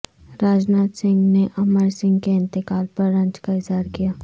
راج ناتھ سنگھ نے امر سنگھ کے انتقال پر رنج کا اظہار کیا